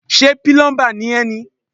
Ṣé pílọ́ḿbà ni ẹ́ ni.